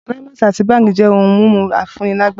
Climax àti Bang jẹ́ ohun mímu afúnilágbára.